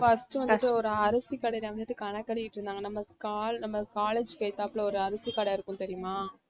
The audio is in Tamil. first வந்துட்டு ஒரு அரிசி கடையில வந்துட்டு கணக்கு எழுதிட்டிருந்தாங்க நம்ம col~ நம்ம college க்கு எதுத்தாப்புல ஒரு அரிசி கடை இருக்கும் தெரியுமா?